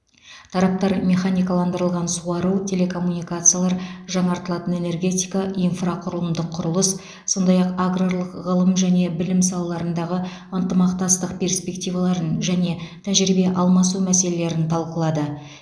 тараптар механикаландырылған суару телекоммуникациялар жаңартылатын энергетика инфрақұрылымдық құрылыс сондай ақ аграрлық ғылым және білім салаларындағы ынтымақтастық перспективаларын және тәжірибе алмасу мәселелерін талқылады